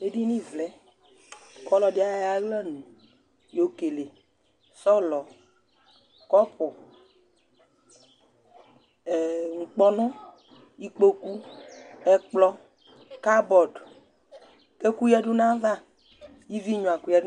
Edini vlɛk'ɔlɔdi ayɔ ay'aɣla nʋ yokele sɔlɔ cupʋ ɛɛ nkpɔnʋ, ikpoku, ɛkplɔ cupboard k'ɛkʋ yǝdʋ n'ayava, ivi gnua kʋ